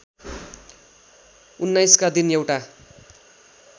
१९ का दिन एउटा